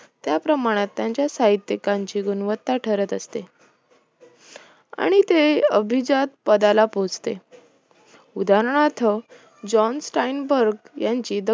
त्याप्रमाणात त्यांच्या साहित्यिकांची गुणवत्ता ठरत असते आणि ते अभिजात पदाला पोहोचते, उदाहरणार्थ जोन्स स्टाईनबर्ग यांची